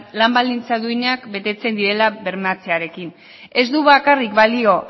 lan baldintza duinak betetzen direla bermatzearekin ez du bakarrik balio